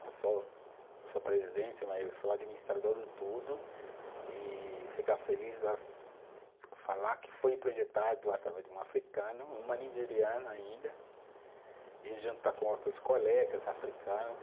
Eu sou presidente, mas sou administrador de tudo e ficar feliz falar que foi projetado através de um africano, uma nigeriana ainda, e juntar com outros colegas africano.